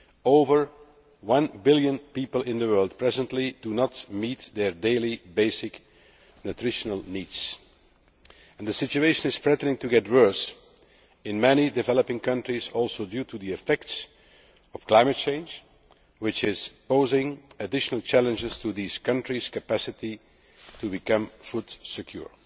Over one billion people in the world presently do not meet their daily basic nutritional needs, and the situation is threatening to get worse in many developing countries, owing also to the effects of climate change, which is posing additional challenges to these countries' capacity to become food secure.